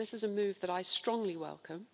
This is a move that I strongly welcome.